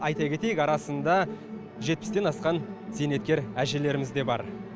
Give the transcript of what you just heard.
айта кетейік арасында жетпістен асқан зейнеткер әжелеріміз де бар